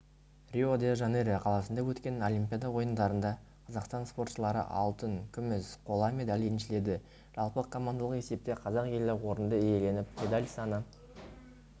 рио-де-жанейро қаласында өткен олимпиада ойындарында қазақстан спортшылары алтын күміс қола медаль еншіледі жалпы командалық есепте қазақ елі орынды иеленіп медаль саны